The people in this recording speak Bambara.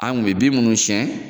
An kun be bin minnu sɛn